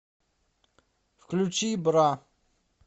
включи бра